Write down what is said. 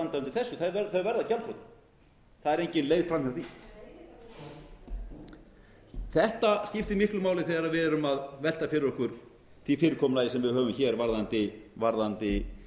eiga að standa undir þessu þau verða gjaldþrota það er engin leið framhjá því þetta skiptir miklu máli þegar við erum að velta fyrir okkur því fyrirkomulagi sem við höfum hér varðandi